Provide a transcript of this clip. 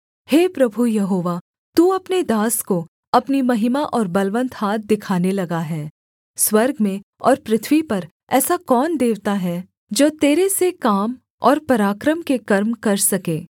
हे प्रभु यहोवा तू अपने दास को अपनी महिमा और बलवन्त हाथ दिखाने लगा है स्वर्ग में और पृथ्वी पर ऐसा कौन देवता है जो तेरे से काम और पराक्रम के कर्म कर सके